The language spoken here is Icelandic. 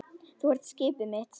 Þú ert skipið mitt.